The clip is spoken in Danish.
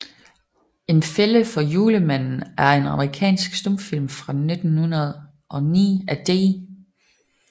En Fælde for Julemanden er en amerikansk stumfilm fra 1909 af D